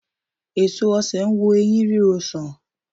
Èso osè n wo ẹyín ríro sàn